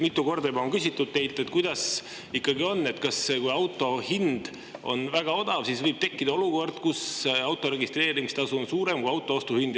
Mitu korda juba on küsitud teilt, kuidas ikkagi on, kas siis, kui auto hind on väga odav, võib tekkida olukord, kus auto registreerimise tasu on suurem kui auto ostuhind.